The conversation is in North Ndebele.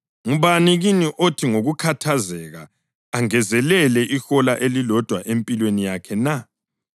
Ngubani kini othi ngokukhathazeka angezelele ihola elilodwa empilweni yakhe na?